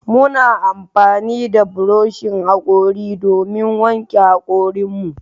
Muna amfani da buroshin hakori domin wanke hakorin mu.